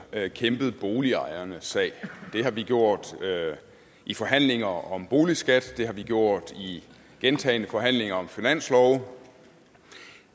kæmpet boligejernes sag det har vi gjort i forhandlinger om boligskat og det har vi gjort i gentagne forhandlinger om finanslove